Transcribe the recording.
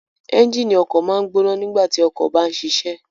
Ẹnjínì ọkọ maa n gbona nigbati ọkọ ba nṣiṣẹ